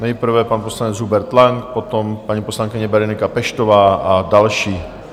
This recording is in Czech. Nejprve pan poslanec Hubert Lang, potom paní poslankyně Berenika Peštová a další.